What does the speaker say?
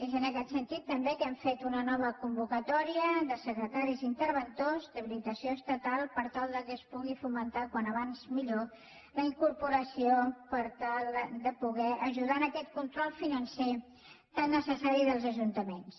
és en aquest sentit també que hem fet una nova convocatòria de secretaris i interventors d’habilitació estatal per tal que se’n pugui fomentar com més aviat millor la incorporació per tal de poder ajudar a aquest control financer tan necessari dels ajuntaments